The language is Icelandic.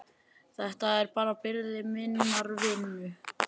Þetta er bara byrði minnar vinnu.